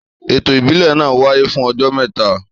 Ètò ìbílẹ̀ náà wáyé fún ọjọ́ mẹ́ta